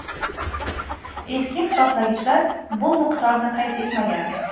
Eski hisoblagichlar bu miqdorni qayd etmagan.